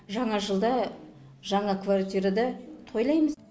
жаңа жылда жаңа квартирада тойлаймыз